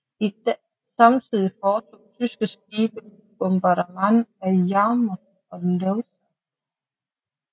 Samtidig foretog tyske skibe bombardement af Yarmouth og Lowestoft